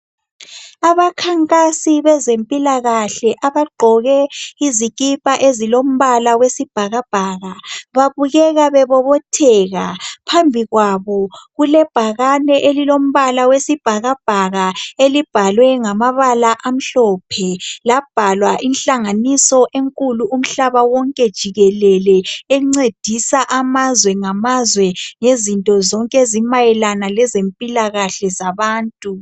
Abakhankasi bezempilakahle abagqoke izikipa ezilombala wesibhakabhaka. Babukeka bebobotheka ,phambi kwabo kulebhakane elilombala wesibhakabhaka. Elibhalwe ngamabala amhlophe . Labhalwa inhlanganiso enkulu umhlaba wonke jikelele .Encedisa amazwe ngamazwe ngezinto zonke ezimayela ngezempilakahle zabantu .